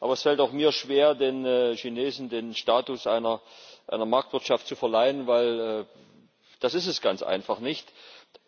Aber es fällt auch mir schwer, den Chinesen den Status einer Marktwirtschaft zu verleihen, weil es das ganz einfach nicht ist.